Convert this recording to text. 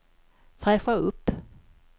fräscha upp